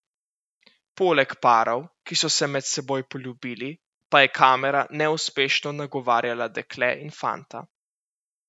Poleg parov, ki so se med seboj poljubili, pa je kamera neuspešno nagovarjala dekle in fanta.